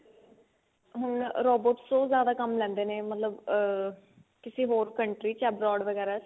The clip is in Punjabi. ਹੁਣ robots ਤੋਂ ਉਹ ਜਿਆਦਾ ਕੰਮ ਲੈਂਦੇ ਨੇ ਮਤਲਬ ਅਹ ਕਿਸੀ ਹੋਰ company ਚ abroad ਵਗੇਰਾ ਚ